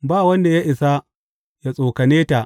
Ba wanda ya isa yă tsokane ta.